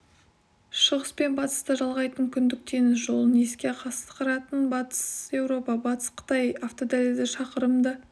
шығыс пен батысты жалғайтын күндік теңіз жолын есе қысқартқан батыс еуропа батыс қытай автодәлізі шақырымды